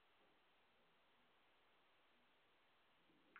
Sidee loo daweyn karaa granuloma annulare?